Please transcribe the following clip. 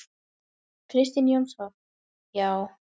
Kristinn Jónsson: Já.